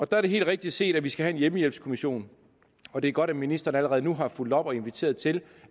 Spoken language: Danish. der er det helt rigtigt set at vi skal have en hjemmehjælpskommission og det er godt at ministeren allerede nu har fulgt op og inviteret til